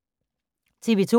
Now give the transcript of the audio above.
TV 2